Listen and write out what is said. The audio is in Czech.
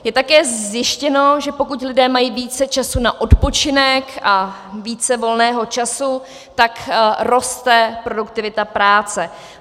Je také zjištěno, že pokud lidé mají více času na odpočinek a více volného času, tak roste produktivita práce.